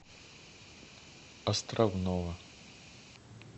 островного